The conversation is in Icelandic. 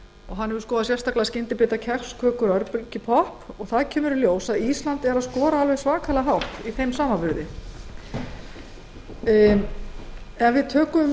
hann hefur í því sambandi sérstaklega skoðað skyndibita kex kökur og örbylgjupopp þar kemur í ljós að ísland skorar alveg svakalega hátt í þeim samanburði ef við tökum